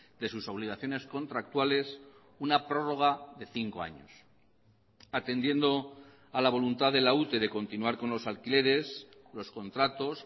de sus obligaciones contractuales una prórroga de cinco años atendiendo a la voluntad de la ute de continuar con los alquileres los contratos